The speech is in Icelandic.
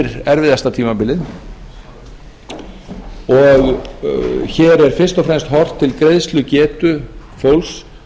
yfir erfiðustu tímabili og hér er fyrst og fremst horft til greiðslugetu fólks